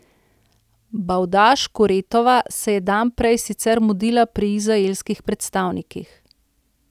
Bavdaž Kuretova se je dan prej sicer mudila pri izraelskih predstavnikih.